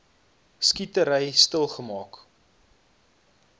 skietery stil geraak